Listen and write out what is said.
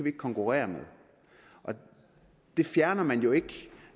ikke konkurrere med det fjerner man jo ikke